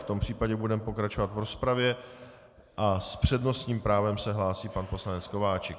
V tom případě budeme pokračovat v rozpravě a s přednostním právem se hlásí pan poslanec Kováčik.